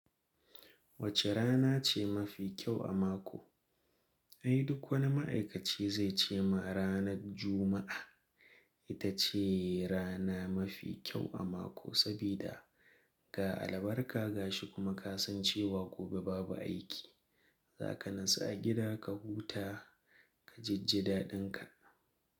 Wace rana ce mafi kyau a mako? Ai duk wani ma'aikaci zai ce ma ranar Juma'a ita ce rana mafi kyau a mako. Sabida ga albarka gashi kuma ka san cewa gobe babu aiki. Za ka natsu a gida ka huta, ka jijji daɗinka.